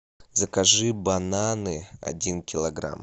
закажи бананы один килограмм